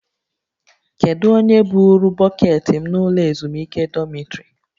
Kedu onye buuru bọkeetị m n'ụlọ ezumike dọmịtrị?